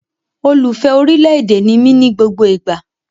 Olùfẹ́ orí ilẹ̀ èdè ni mí ní gbogbo ìgbà